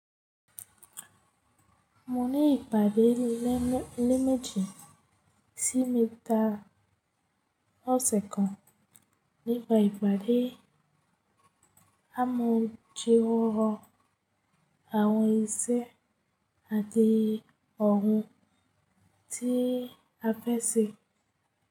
Mo ní ìpàdé léméjì sí mẹ́ta lọ́sẹ̀ kan, nípa ìpàdé ámojúrórọ̀ àwọn iṣẹ́ àti oun tí a fẹ́ ṣe.